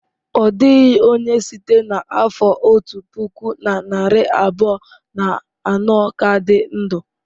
Ọ dịghị onye site n'afọ otu puku na narị abụọ na anọ ka dị ndụ.